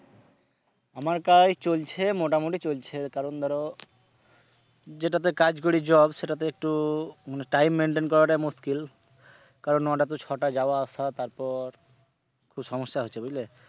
আমার কাজ এই চলছে মোটামুটি চলছে কারন ধরো যেটাতে কাজ করি job সেটাতে একটু মানে time maintain করাটা মুশকিল কারন নটা টু ছটা যাওয়া আসা তারপর একটু সমস্যা হচ্ছে বুঝলে।